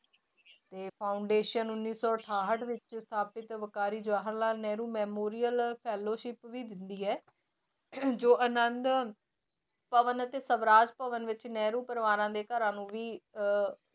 ਤੇ foundation ਉੱਨੀ ਸੌ ਅਠਾਹਟ ਵਿੱਚ ਸਥਾਪਿਤ ਵਿਕਾਰੀ ਜਵਾਹਰ ਲਾਲ ਨਹਿਰੂ memorial fellowship ਵੀ ਦਿੰਦੀ ਹੈ ਜੋ ਆਨੰਦ ਭਵਨ ਅਤੇ ਸਵਰਾਜ ਭਵਨ ਵਿੱਚ ਨਹਿਰੂ ਪਰਿਵਾਰਾਂਂ ਦੇ ਘਰਾਂ ਨੂੰ ਵੀ ਅਹ